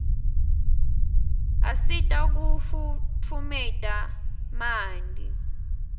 asita kufutfumeta manti